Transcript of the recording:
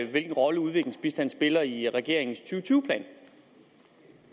hvilken rolle udviklingsbistanden spiller i regeringens to tusind